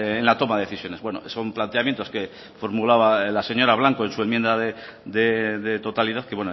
en la toma de decisiones bueno son planteamientos que formulaba la señora blanco en su enmienda de totalidad que